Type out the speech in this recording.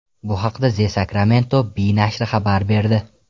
Bu haqda The Sacramento Bee nashri xabar berdi .